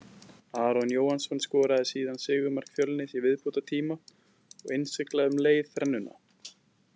Aron Jóhannsson skoraði síðan sigurmark Fjölnis í viðbótartíma og innsiglaði um leið þrennuna.